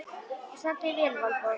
Þú stendur þig vel, Valborg!